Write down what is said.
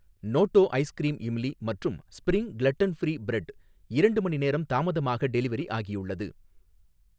நோட்டோ ice cream imli மற்றும் spring gluten free bread ரெண்டு மணிநேரம் தாமதமாக டெலிவரி ஆகியுள்ளது.